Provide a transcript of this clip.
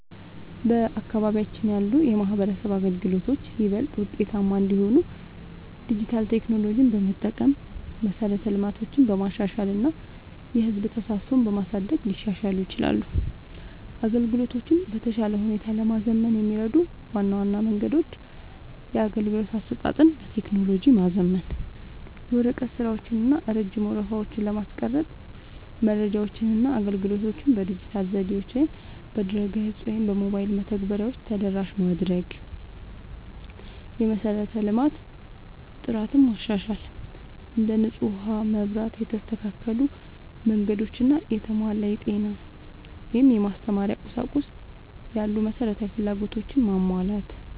በአካባቢያችን ያሉ የማህበረሰብ አገልግሎቶች ይበልጥ ውጤታማ እንዲሆኑ ዲጂታል ቴክኖሎጂዎችን በመጠቀም፣ መሠረተ ልማትን በማሻሻል እና የህዝብ ተሳትፎን በማሳደግ ሊሻሻሉ ይችላሉ። አገልግሎቶቹን በተሻለ ሁኔታ ለማዘመን የሚረዱ ዋና ዋና መንገዶች - የአገልግሎት አሰጣጥን በቴክኖሎጂ ማዘመን፦ የወረቀት ስራዎችን እና ረጅም ወረፋዎችን ለማስቀረት መረጃዎችንና አገልግሎቶችን በዲጂታል ዘዴዎች (በድረ-ገጽ ወይም በሞባይል መተግበሪያዎች) ተደራሽ ማድረግ። የመሠረተ ልማት ጥራትን ማሻሻል፦ እንደ ንጹህ ውሃ፣ መብራት፣ የተስተካከሉ መንገዶች እና የተሟላ የጤና/የማስተማሪያ ቁሳቁስ ያሉ መሠረታዊ ፍላጎቶችን ማሟላት።